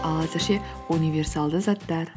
ал әзірше универсалды заттар